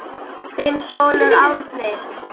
Þinn sonur Árni.